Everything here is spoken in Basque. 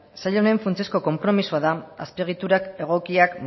sail honen funtsezko konpromisoa da azpiegitura egokiak